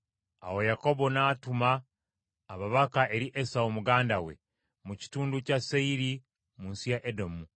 Awo Yakobo n’atuma ababaka eri Esawu muganda we, mu kitundu kya Seyiri mu nsi ya Edomu.